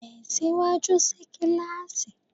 Tẹ̀síwájú sí kíláàsì!